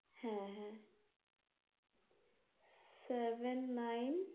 হ্যাঁ হ্যাঁ seven nine